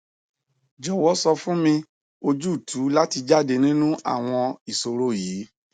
jọwọ sọ fun mi ojutu lati jade ninu awọn iṣoro yii